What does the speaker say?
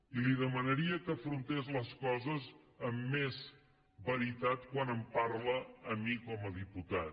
i li demanaria que afrontés les coses amb més veritat quan em parla a mi com a diputat